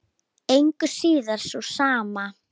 Engu að síður sú sama.